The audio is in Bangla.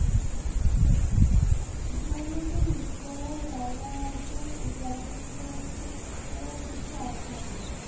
দীনবন্ধু মিত্রের রায়বাহাদুর উপাধি সম্পর্কে এর কিছু আলোচনা করো।